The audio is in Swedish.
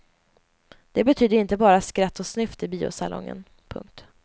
Det betyder inte bara skratt och snyft i biosalongen. punkt